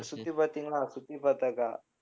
சுத்தி பார்த்தீங்களா சுத்தி